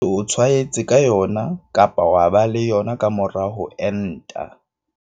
E ke se o tshwaetse ka yona kapa wa ba le yona ka mora ho enta.